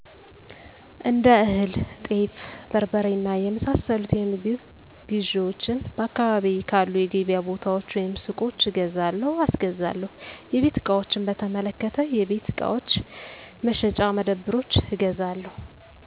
እንደ እህል፣ ጤፍ፣ በርበሬ እና የመሳሰሉት የምግብ ግዢዎቼን በአካባቢየ ካሉ የገበያ ቦታዎች ወይም ሱቆች እገዛለሁ/አስገዛለሁ/ ። የቤት ዕቃዎችን በተመለከተ የቤት ዕቃዎች መሸጫ መደብሮች እገዛለሁ።